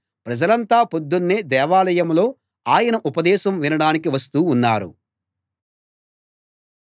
ప్రజలంతా పొద్దున్నే దేవాలయంలో ఆయన ఉపదేశం వినడానికి వస్తూ ఉన్నారు